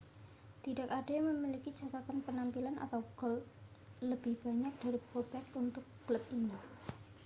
tidak ada yang memiliki catatan penampilan atau gol lebih banyak dari bobek untuk klub ini